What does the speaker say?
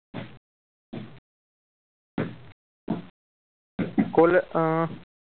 College a